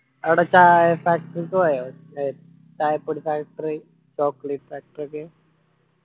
എടാ ചായ factory ഒക്കെ പോയോ ചായപ്പൊടി factory chocolate factory ഒക്കെ.